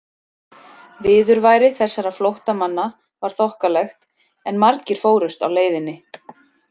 Viðurværi þessara flóttamanna var þokkalegt, en margir fórust á leiðinni.